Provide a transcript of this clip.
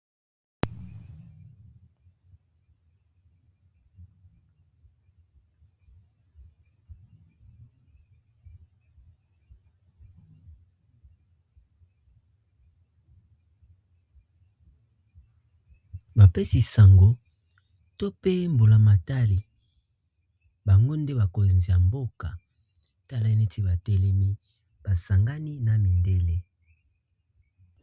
Bapesi sango to pe mbula matali bango nde bakonzi ya mboka tala neti batelemi basangani na midele.